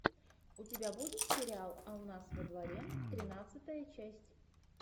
у тебя будет сериал а у нас во дворе тринадцатая часть